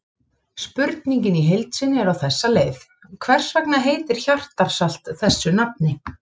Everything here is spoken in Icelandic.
Spurningin í heild sinni er á þessa leið: Hvers vegna heitir hjartarsalt þessu nafni?